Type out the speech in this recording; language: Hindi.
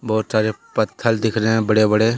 बहुत सारे पत्थल दिख रहे हैंबड़े बड़े--